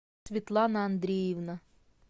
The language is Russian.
светлана андреевна